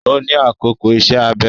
Ó ní àkókò ìṣe-abẹ